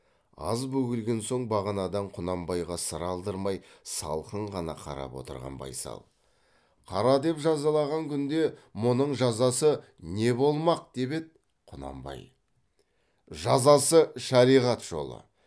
аз бөгелген соң бағанадан құнанбайға сыр алдырмай салқын ғана қарап отырған байсал қара деп жазалаған күнде мұның жазасы не болмақ деп еді құнанбай жазасы шариғат жолы